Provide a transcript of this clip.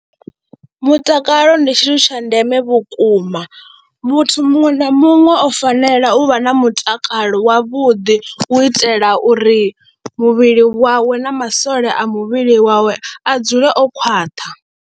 Mutakalo ndi tshithu tsha ndeme vhukuma muthu muṅwe na muṅwe o fanela u vha na mutakalo wavhuḓi u itela uri muvhili wawe na masole a muvhili wawe a dzule o khwaṱha.